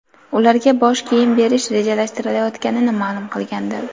ularga bosh kiyim berish rejalashtirilayotganini ma’lum qilgandi.